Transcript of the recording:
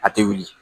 A tɛ wuli